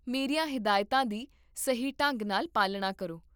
ਮੇਰੀਆਂ ਹਿਦਾਇਤਾਂ ਦੀ ਸਹੀ ਢੰਗ ਨਾਲ ਪਾਲਣਾ ਕਰੋ